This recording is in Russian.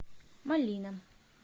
малина